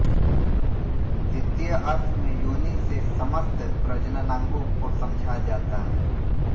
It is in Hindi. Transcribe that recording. द्वितीय अर्थ में योनि से समस्त प्रजननांगों को समझा जाता है